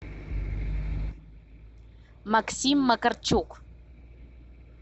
максим макарчук